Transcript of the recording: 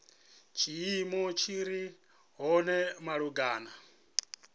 tshiimo tshi re hone malugana